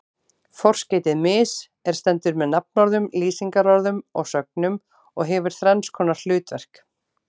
Forskeytið mis- er stendur með nafnorðum, lýsingarorðum og sögnum og hefur þrenns konar hlutverk.